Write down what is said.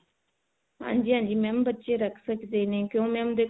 ਹਾਂਜੀ ਹਾਂਜੀ mam ਬੱਚੇ ਰੱਖ ਆਕੜੇ ਨੇ ਕਿਉ mam